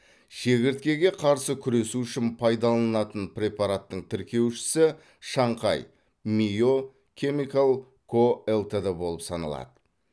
шегірткеге қарсы күресу үшін пайдаланылатын препараттың тіркеушісі шанхай мио кемикал ко лтд болып саналады